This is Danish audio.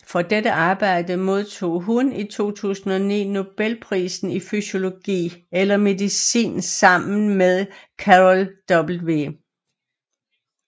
For dette arbejde modtog hun i 2009 Nobelprisen i fysiologi eller medicin sammen med Carol W